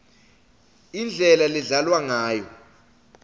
indlela ledlalwa ngayo